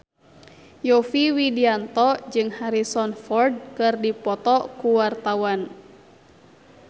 Yovie Widianto jeung Harrison Ford keur dipoto ku wartawan